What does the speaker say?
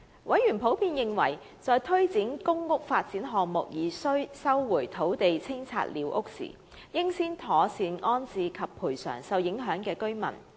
委員普遍認為，在推展公屋發展項目而需收回土地清拆寮屋時，應先妥善安置受影響的居民，並作出賠償。